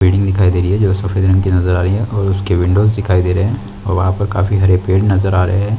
Building दिखाई दे रही है जो सफेद रंग की नजर आ रही है और उसके विंडोस दिखाई दे रहे है और वहाँ पर काफी सारे पेड़ नजर आ रहे हैं।